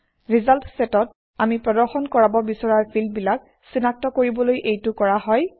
result চেটত আমি প্ৰদৰ্শন কৰাব বিচৰা ফিল্ডবিলাক চিনাক্ত কৰিবলৈ এইটো কৰা হয়